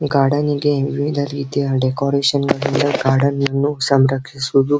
ಗಾರ್ಡನಿಗೆ ವಿವಿಧರೀತಿಯ decoration garden ಅನ್ನು ಸಂರಕ್ಷಿಸೋದು .